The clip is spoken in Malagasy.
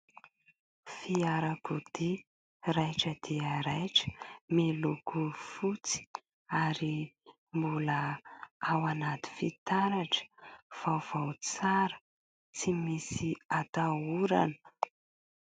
Fiarakodia raitra dia raitra, miloko fotsy, ary mbola ao anaty fitaratra. Vaovao tsara tsy misy atahorana.